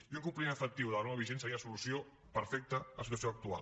i un compliment efectiu de la norma vigent seria la solució perfecta a la situació actual